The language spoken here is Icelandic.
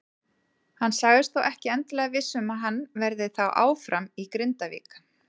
Hann sagðist þó ekki endilega viss um að hann verði þá áfram í Grindavík.